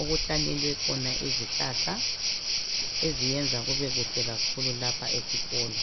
okuhlanyelwe khona izihlahla eziyenza kube kuhle kakhulu lapha esikolo.